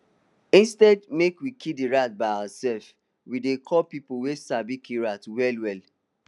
instead make we kill d rat by ourselvewe dey call peopl wey sabi kill rat wel well